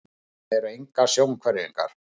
Þetta voru engar sjónhverfingar.